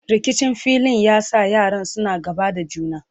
rikicin filin ya sa yaran suna gaba da juna